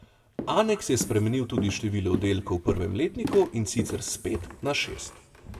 Aneks je spremenil tudi število oddelkov v prvem letniku, in sicer s pet na šest.